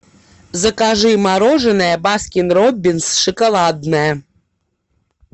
закажи мороженое баскин роббинс шоколадное